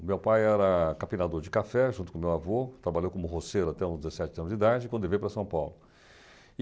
O meu pai era capinador de café junto com o meu avô, trabalhou como roceiro até os dezessete anos de idade, quando ele veio para São Paulo.